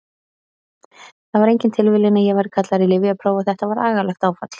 Það var engin tilviljun að ég væri kallaður í lyfjapróf og þetta var agalegt áfall.